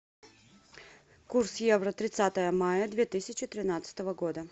курс евро тридцатое мая две тысячи тринадцатого года